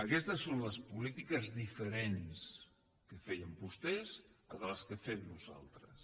aquestes són les polítiques diferents les feien vostès de les que fem nosaltres